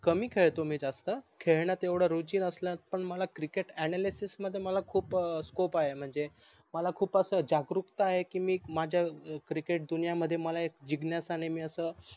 कमी खेडतो मी जास्त खेडन तेवढ रुचि नसल्यास पन मला cricket analysis मध्ये मला खूप scope आहे म्हणजे मला खूप जागरूकता आहे की माझी cricket दुनिया मध्ये मला एक जिज्ञासा अन मी अस